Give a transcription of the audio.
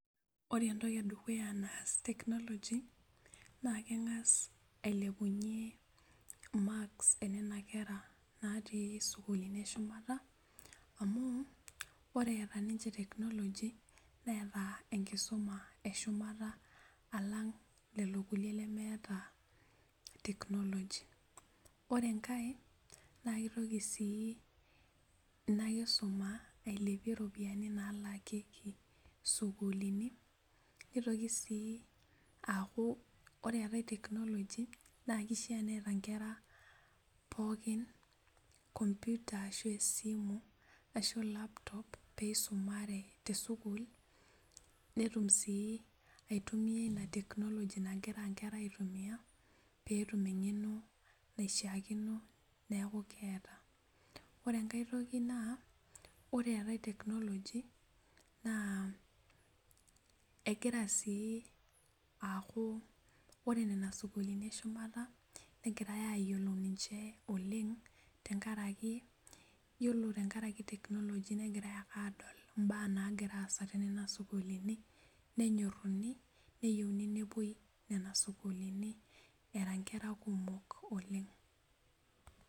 Ore entoki edukuya naas technology naa keng'as ailepunyie marks enena kera natii isukulini eshumata amu ore eeta ninche technology neeta enkisuma eshumata alang lelo kulie lemeeta technology ore enkae naa kitoki sii ina kisuma ailepie iropiyiani nalakieki sukulini nitoki sii aaku ore eetae technology naa kishia neeta inkera pookin computer ashu esimu ashu laptop peisumare tesukul netum sii aitumia ina technology nagira inkera aitumia petum eng'eno naishiakino neku keeta ore enkae toki naa ore eetae technology naa egira sii aaku ore nena sukulini eshumata negirae ayiolou ninche oleng tenkaraki yiolo tenkaraki technology negirae ake aadol imbaa nagira aasa tenena sukulini nenyorruni neyieuni nepuoi nena sukulini era inkera kumok oleng.